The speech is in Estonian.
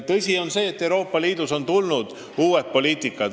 On tõsi, et Euroopa Liidus on tekkinud uued poliitikasuunad.